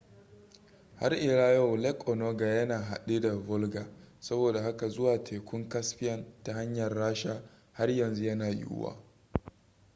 har ila yau lake onega yana haɗi da volga saboda haka zuwa daga tekun caspian ta hanyar rasha har yanzu yana yiwuwa